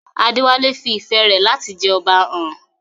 Adewale fi ìfẹ́ rẹ̀ láti jẹ Ọba hàn.